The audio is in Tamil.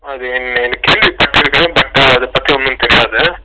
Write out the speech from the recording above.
அது என்னனு கேள்விப்பட்டுருக்கேன் ஆனா அத பத்தி தெரியாது